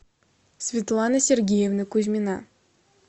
светлана сергеевна кузьмина